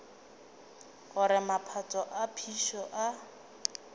gore maphoto a phišo a